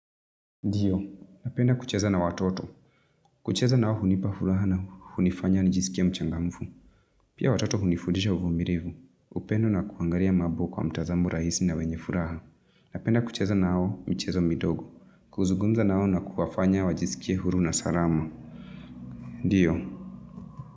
Ndiyo. Napenda kucheza na watoto. Kucheza nao hunipa furaha na hunifanya nijisikie mchangamfu. Pia watoto hunifudisha uvumirivu. Upendo na kuangalia mabo kwa mtazamo rahisi na wenye furaha. Napenda kucheza nao michezo midogo. Kuzugumza nao na kuwafanya wajisikie huru na sarama. Ndiyo.